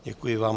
Děkuji vám.